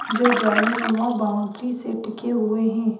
जो जालीनुमा बाउंड्री से टिके हुए है।